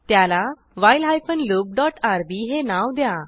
त्याला while hyphen loop dot RB हे नाव द्या